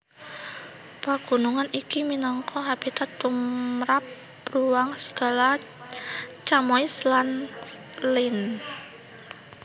Pagunungan iki minangka habitat tumrap bruang serigala chamois lan lynx